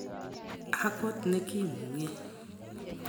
ak got ne kimung'e.